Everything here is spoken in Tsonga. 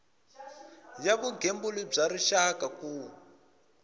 ya vugembuli bya rixaka ku